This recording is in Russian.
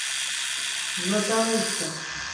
златоуста